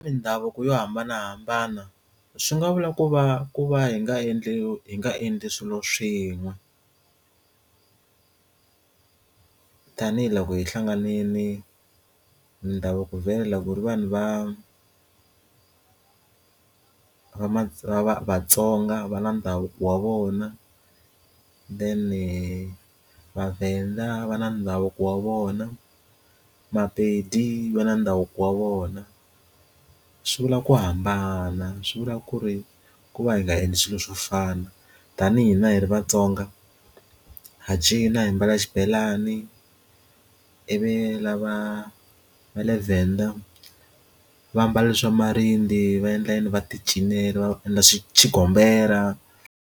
Mindhavuko yo hambanahambana swi nga vula ku va ku va hi nga endliwi hi nga endli swilo swin'we tanihiloko hi hlanganile ndhavuko vhela ku ri vanhu va vatsonga va na ndhavuko wa vona then vavenda va na ndhavuko wa vona mapedi va na ndhavuko wa vona ku swi vula ku hambana swi vula ku ri ku va hi nga endli swilo swo fana tanihi na hi ri vatsonga ha cina hi mbala xibelani ivi lava va le Venda vambala swa marinde va endla yini va ti cinela va endla swi xigombela.